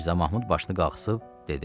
Mirzə Mahmud başını qaldırıb dedi: